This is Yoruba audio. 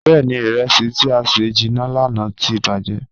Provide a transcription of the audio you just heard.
Bẹẹni, iresi ti a sẹ jinna lana ti bajẹ.